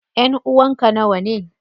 Ƴanʼuwan ka nawane?